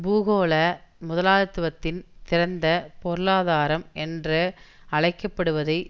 பூகோள முதலாளித்துவத்தின் திறந்த பொருளாதாரம் என்று அழைக்க படுவதை